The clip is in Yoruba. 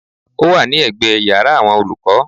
Ó wà ní ẹ̀gbẹ́ yàrá àwọn olùkọ́.